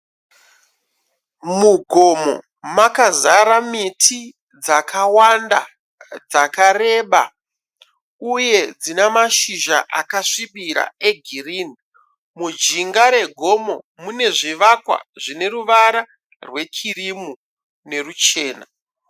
Mugomo makazara miti dzakawanda dzakareba uye dzinamashizha akasvibira egirini. Mujinga regomo mune zvivakwa zvine ruvara rwekirimu neruchena.